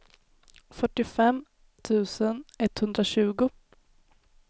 fyrtiofem tusen etthundratjugo